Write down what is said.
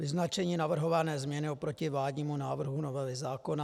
Vyznačení navrhované změny oproti vládnímu návrhu novely zákona.